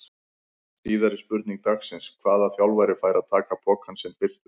Síðari spurning dagsins: Hvaða þjálfari fær að taka pokann sinn fyrstur?